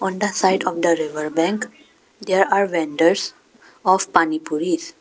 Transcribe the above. On the side of the river bank there are vendors of panipuris.